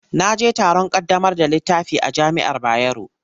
Na je taron ƙaddamar da littafi a jami'ar Bayero.